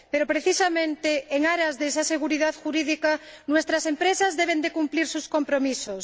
Pero, precisamente, en aras de esa seguridad jurídica, nuestras empresas deben cumplir sus compromisos.